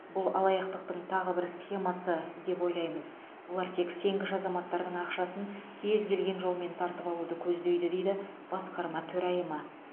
бұл алаяқтықтың тағы бір схемасы деп ойлаймыз олар тек сенгіш азаматтардың ақшасын кез келген жолмен тартып алуды көздейді дейді басқарма төрайымы